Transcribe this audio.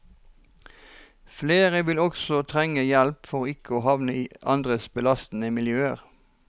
Flere vil også trenge hjelp for ikke å havne i andre belastede miljøer.